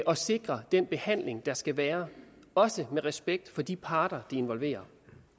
og sikre den behandling der skal være også med respekt for de parter det involverer